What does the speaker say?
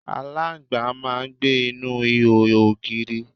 aláǹgbá máà ń gbé inú ihò ògiri